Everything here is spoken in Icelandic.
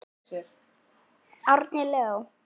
Árni Leó.